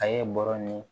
A ye bɔrɔ min